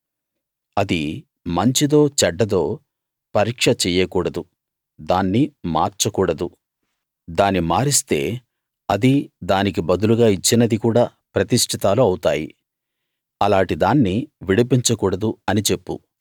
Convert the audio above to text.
అది మంచిదో చెడ్డదో పరీక్ష చెయ్యకూడదు దాన్ని మార్చకూడదు దాని మారిస్తే అదీ దానికి బదులుగా ఇచ్చినది కూడా ప్రతిష్ఠితాలు అవుతాయి అలాటి దాన్ని విడిపించ కూడదు అని చెప్పు